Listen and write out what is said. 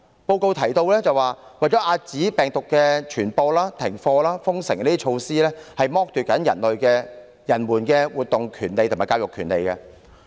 該報告提到，為遏止病毒傳播，停課和封城等措施正剝奪人們的活動權利及教育權利。